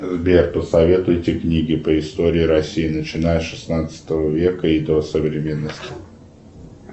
сбер посоветуйте книги по истории россии начиная с шестнадцатого века и до современности